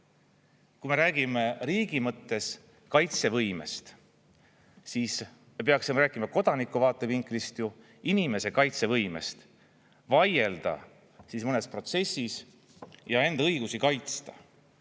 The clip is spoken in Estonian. Kui me räägime riigi mõttes kaitsevõimest, siis me peaksime rääkima kodaniku vaatevinklist ju inimese kaitsevõimest vaielda mõnes protsessis ja enda õigusi kaitsta.